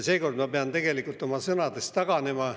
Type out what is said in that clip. Seekord ma pean tegelikult oma sõnadest taganema.